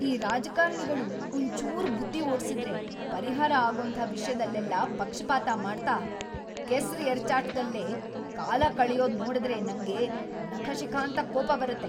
ಈ ರಾಜಕಾರಣಿಗಳು ಒಂಚೂರ್‌ ಬುದ್ಧಿ ಓಡ್ಸಿದ್ರೇ ಪರಿಹಾರ ಆಗೋಂಥ ವಿಷ್ಯದಲ್ಲೆಲ್ಲ ಪಕ್ಷಪಾತ ಮಾಡ್ತಾ ಕೆಸ್ರ್‌ ಎರ್ಚಾಟ್ದಲ್ಲೇ ಕಾಲಕಳ್ಯೋದ್‌ ನೋಡುದ್ರೆ ‌ನಂಗ್ ನಖಶಿಖಾಂತ ಕೋಪ ಬರತ್ತೆ.